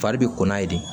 Fari bɛ kɔnna ye de